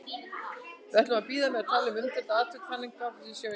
Við ætlum að bíða með að tala um umdeildu atvikin þangað til við sjáum þau.